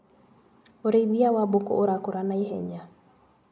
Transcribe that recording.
ũrĩithia wa mbũkũ ũrakũra na ihenya.